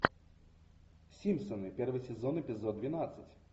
симпсоны первый сезон эпизод двенадцать